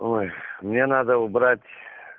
ой мне надо убрать